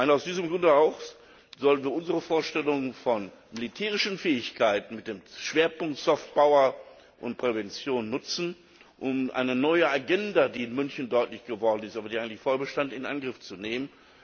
Aus diesem Grunde sollten wir unsere Vorstellungen von militärischen Fähigkeiten mit dem Schwerpunkt Soft power und Prävention nutzen, um eine neue Agenda, die in München deutlich geworden ist, aber eigentlich schon vorher bestand, in Angriff zu nehmen.